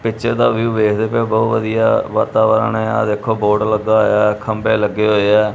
Picture ਦਾ view ਵੇਖਦੇ ਪਏ ਹੋ ਬਹੁਤ ਵਧੀਆ ਵਾਤਾਵਰਨ ਆ ਦੇਖੋ ਬੋਰਡ ਲੱਗਾ ਹੋਇਆ ਖੰਬੇ ਲੱਗੇ ਹੋਏ ਐ।